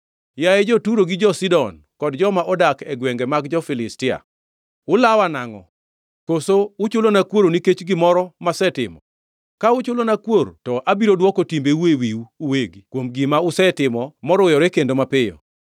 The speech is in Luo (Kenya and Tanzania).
“Yaye, jo-Turo gi jo-Sidon, kod joma odak e gwenge mag Filistia, ulawa nangʼo? Koso uchulona kuor nikech gimoro masetimo? Ka uchulona kuor to abiro dwoko timbeu e wiwu uwegi kuom gima usetimo moruyore kendo mapiyo.